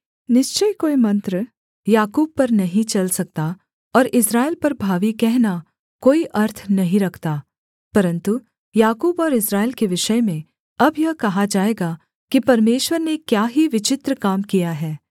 निश्चय कोई मंत्र याकूब पर नहीं चल सकता और इस्राएल पर भावी कहना कोई अर्थ नहीं रखता परन्तु याकूब और इस्राएल के विषय में अब यह कहा जाएगा कि परमेश्वर ने क्या ही विचित्र काम किया है